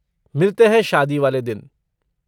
मिलते हैं शादी वाले दिन।